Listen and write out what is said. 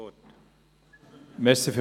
Kullmann hat das Wort.